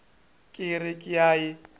ka re ke a e